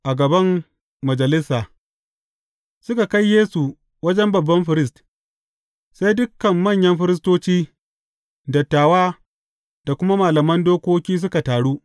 A gaban majalisa Suka kai Yesu wajen babban firist, sai dukan manyan firistoci, dattawa da kuma malaman dokoki suka taru.